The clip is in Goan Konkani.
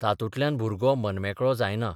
तातूंतल्यान भुरगो मनमेकळो जायना.